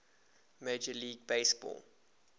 major league baseball